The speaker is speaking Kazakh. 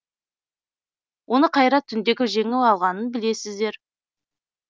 оны қайрат түнтеков жеңіп алғанын білесіздер